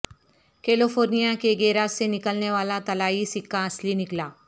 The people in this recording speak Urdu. کیلیفورنیا کے گیراج سے نکلنے والا طلائی سکہ اصلی نکلا